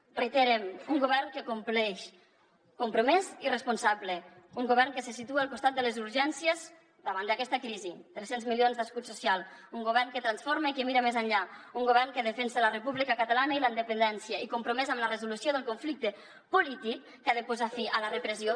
ho reiterem un govern que compleix compromès i responsable un govern que se situa al costat de les urgències davant d’aquesta crisi tres cents milions d’escut social un govern que transforma i que mira més enllà un govern que defensa la república catalana i la independència i compromès amb la resolució del conflicte polític que ha de posar fi a la repressió